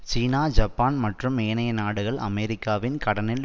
சீனா Japan மற்றும் ஏனைய நாடுகள் அமெரிக்காவின் கடனில்